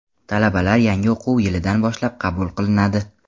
Talabalar yangi o‘quv yilidan boshlab qabul qilinadi.